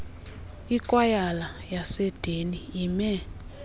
ikwayala yaseedeni ime